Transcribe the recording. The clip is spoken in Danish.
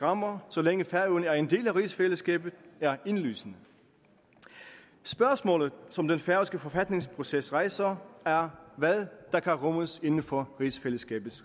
rammer så længe færøerne er en del af rigsfællesskabet er indlysende spørgsmålet som den færøske forfatningsproces rejser er hvad der kan rummes inden for rigsfællesskabet